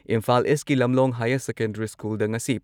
ꯏꯝꯐꯥꯜ ꯏꯁꯀꯤ Lamlong higher secondary ꯁ꯭ꯀꯨꯜꯗ ꯉꯁꯤ